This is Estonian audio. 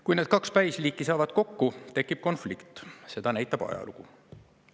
Kui need kaks päisliiki saavad kokku, tekib konflikt, seda näitab ajalugu.